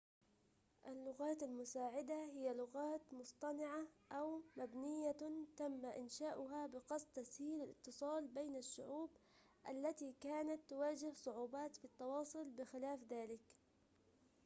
اللغات المساعدة هي لغات مصطنعة أو مبنية تم إنشاؤها بقصد تسهيل الاتصال بين الشعوب التي كانت تواجه صعوبات في التواصل بخلاف ذلك